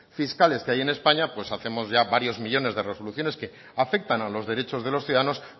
fiscales que hay en españa pues hacemos ya varios millónes de resoluciones que afectan a los derechos de los ciudadanos